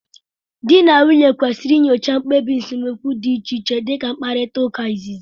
Di na nwunye kwesịrị inyocha mkpebi nsemokwu dị iche iche dị ka mkparita uka, nzizi, wdg.